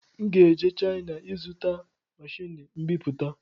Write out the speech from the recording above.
M ga-eje China ịzụta machini mbiputa